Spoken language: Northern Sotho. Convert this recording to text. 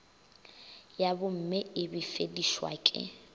ya bomme e befedišwa ke